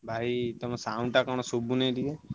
ଭାଇ ତମ sound ଟା କଣ ସୁଭୁନି ଟିକେ।